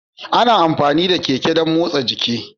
Ana amfani da Keke dan motsa jiki.